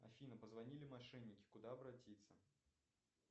афина позвонили мошенники куда обратиться